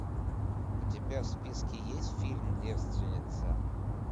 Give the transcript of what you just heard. у тебя в списке есть фильм девственница